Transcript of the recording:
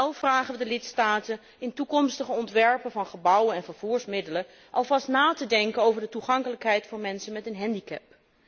Wel vragen we de lidstaten in toekomstige ontwerpen van gebouwen en vervoermiddelen alvast na te denken over de toegankelijkheid voor mensen met een handicap.